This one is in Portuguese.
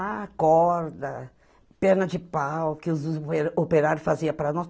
Ah, corda, perna de pau que os os operários faziam para nós.